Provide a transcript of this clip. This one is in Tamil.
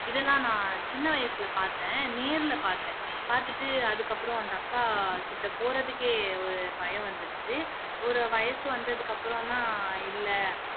இதை நான் சின்ன வயசுல பாத்தேன் நேர்ல பாத்தேன் பாத்துட்டு அதுக்கப்பறம் அந்த அக்காக்கிட்ட போறதுக்கே ஒரு பயம் வந்துடுச்சு ஒரு வயசு வந்ததுக்கு அப்பறம் தான்